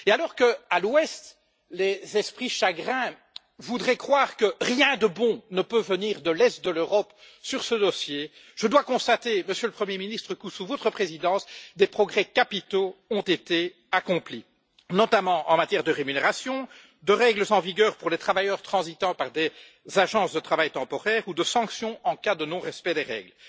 Alors qu'à l'Ouest, les esprits chagrins voudraient croire que rien de bon ne peut venir de l'Est de l'Europe sur ce dossier, je dois constater, Monsieur le Premier Ministre, que sous votre présidence, des progrès capitaux ont été accomplis, notamment en matière de rémunération, de règles en vigueur pour les travailleurs transitant par des agences de travail temporaire ou de sanctions en cas de non respect des règles.